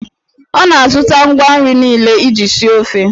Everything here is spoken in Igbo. Ọ na-azụta ngwa nri niile iji sie ofe.